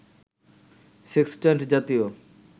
sextant জাতীয়